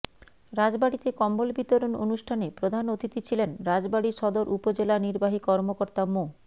রাজবাড়ীতে কম্বল বিতরণ অনুষ্ঠানে প্রধান অতিথি ছিলেন রাজবাড়ী সদর উপজেলা নির্বাহী কর্মকর্তা মো